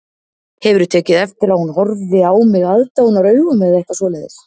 Hefurðu tekið eftir að hún horfi á mig aðdáunaraugum eða eitthvað svoleiðis